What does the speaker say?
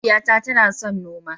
Mahaifiyata tana son noma.